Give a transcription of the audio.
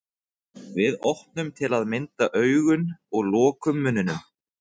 Við opnum til að mynda augun og lokum munninum.